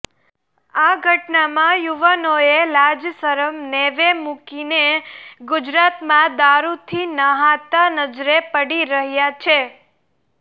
આ ઘટનામાં યુવાનોએ લાજશરમ નેવે મૂકીને ગુજરાતમાં દારૂથી નહાતા નજરે પડી રહ્યા છે